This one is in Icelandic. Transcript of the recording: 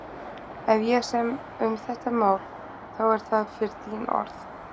Ef ég sem um þetta mál, þá er það fyrir þín orð.